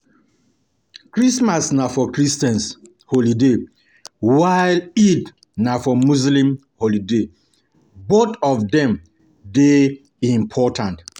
Christmas na Christian holiday while Eid na muslim holiday both of dem dey important